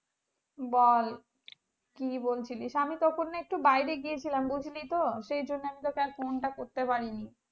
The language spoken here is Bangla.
বল কি বলছিলিস আমি তখন না একটু বাইরে গেছিলাম বুঝলি তো সেই জন্য তোকে আর phone টা করতে পারিনি